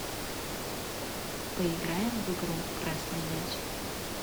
поиграем в игру красный мяч